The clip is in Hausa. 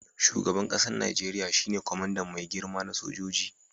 Shugaban kasan Nijeriya shine kwamandan mai girma na sojoji.